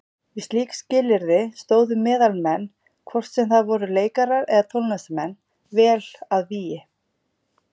Við slík skilyrði stóðu meðalmenn, hvort sem það voru leikarar eða tónlistarmenn, vel að vígi.